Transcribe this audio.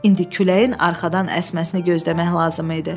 İndi küləyin arxadan əsməsini gözləmək lazım idi.